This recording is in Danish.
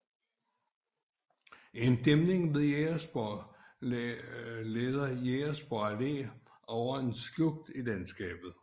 En dæmning ved Jægersborg leder Jægersborg Allé over en slugt i landskabet